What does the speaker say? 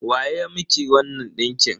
Wa ya miki wannan ɗinkin?